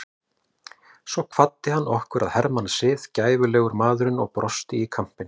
Svo kvaddi hann okkur að hermannasið, gæfulegur maðurinn og brosti í kampinn.